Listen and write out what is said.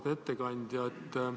Auväärt ettekandja!